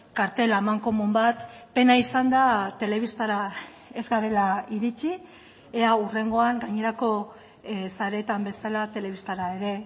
kartel amankomun bat pena izan da telebistara ez garela iritsi ea hurrengoan gainerako sareetan bezala telebistara ere